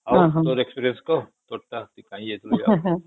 ଆଉ ତୋର experience କହ ତୋର ଟା କାଇଁ ଯାଇଥିଲୁ